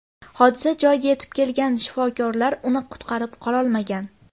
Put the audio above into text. Hodisa joyiga yetib kelgan shifokorlar uni qutqarib qololmagan.